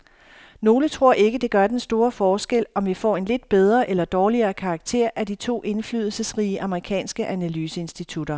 Nogle tror ikke, det gør den store forskel, om vi får en lidt bedre eller dårligere karakter af de to indflydelsesrige amerikanske analyseinstitutter.